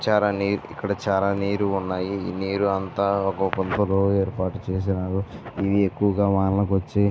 చాలా నీట్ గా ఇక్కడ చాలా నీట్ ఉన్నాయి. నీరూ అంతా ఒక గుంటలో ఏర్పాటు చేశారు. నీరు ఎక్కువుగా వానలు వచ్చి --